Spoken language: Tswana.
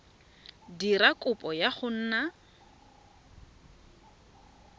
dira kopo ya go nna